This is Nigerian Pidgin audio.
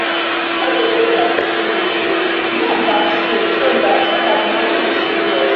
we no dey go satorini again men gat save so that so that the money go save us